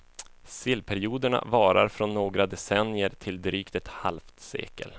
Sillperioderna varar från några decennier till drygt ett halvt sekel.